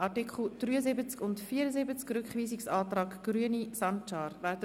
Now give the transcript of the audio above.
Wir stimmen über den Rückweisungsantrag Grüne/Sancar zu den Artikel 73 und 74 ab.